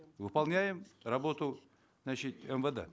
выполняем работу значит мвд